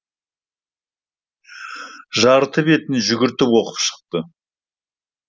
жарты бетін жүгіртіп оқып шықты